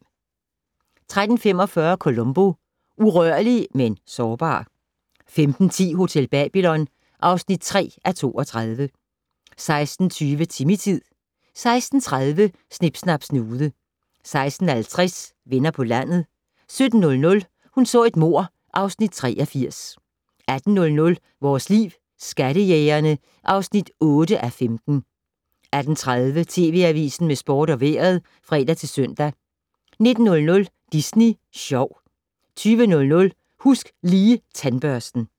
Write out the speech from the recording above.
13:45: Columbo: Urørlig - men sårbar 15:10: Hotel Babylon (3:32) 16:20: Timmy-tid 16:30: Snip Snap Snude 16:50: Venner på landet 17:00: Hun så et mord (Afs. 83) 18:00: Vores Liv: Skattejægerne (8:15) 18:30: TV Avisen med sport og vejret (fre-søn) 19:00: Disney Sjov 20:00: Husk Lige Tandbørsten